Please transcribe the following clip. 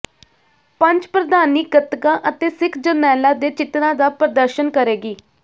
ਪੰਚ ਪ੍ਰਧਾਨੀ ਗਤਕਾ ਅਤੇ ਸਿੱਖ ਜਰਨੈਲਾਂ ਦੇ ਚਿਤਰਾਂ ਦਾ ਪ੍ਰਦਰਸ਼ਨ ਕਰੇਗੀ